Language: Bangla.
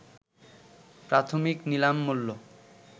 প্রাথমিক নিলাম মূল্য